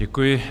Děkuji.